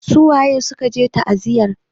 Su waye suka je ta'aziyar?